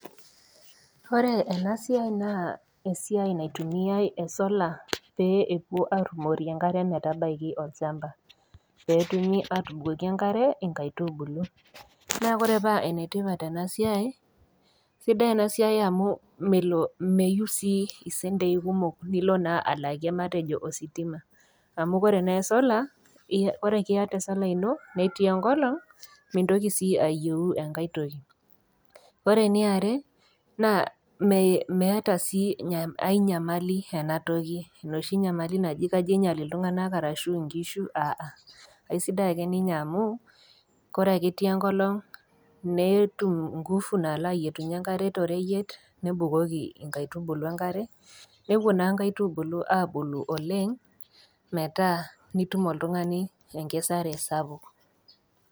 Ore ena siai naa esiai naitumiai esola pee ewoi arumorie enkare metabaiki olchamba pee etumi atubukoki engare inkaitubulu. Naa ore paa enetipat ena siai, sidai ena siai amu melo, meyeu sii isentei kumok nilo naa alakie matejo ositima amu ore naa esola, ore ake iata esola ino netii enkolong, mintoki sii ayeu enkai toki. Ore eniare, meeta sii ainyamali ena toki enoshi nyamali naji kajo einyal iltung'ana ashu inkishu, aha. Asidai ake ninye amu, ore ake etii enkolong netum inguvu nalo ayietunyie engare toreyiet nebukoki inkaitubulu engare newuo naa inkaitubulu abulu oleng metaa nitum oltung'ani enkesare sapuk.